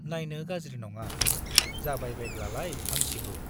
नाइनो गाज्रि नङा, जाबायबायब्लालाय हामसिगौ ।